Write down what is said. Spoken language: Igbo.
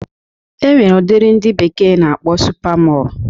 E nwere udiri ndị bekee na-akpọ supa Mọl